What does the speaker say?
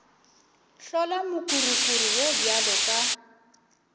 hlola mokurukuru wo bjalo ka